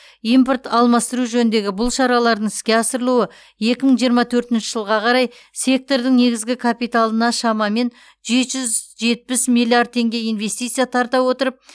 импорт алмастыру жөніндегі бұл шаралардың іске асырылуы екі мың жиырма төртінші жылға қарай сектордың негізгі капиталына шамамен жеті жүз жетпіс миллиард теңге инвестиция тарта отырып